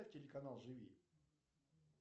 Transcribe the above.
телеканал живи